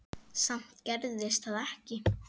Samt gerðist það ekki.